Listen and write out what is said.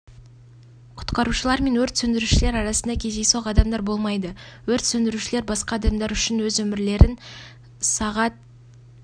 құтқарушылар мен өрт сөндірушілер арасында кездейсоқ адамдар болмайды өрт сөндірушілер басқа адамдар үшін өз өмірлерін сағат